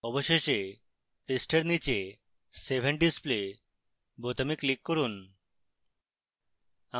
অবশেষে পৃষ্ঠার নীচে save and display বোতামে click করুন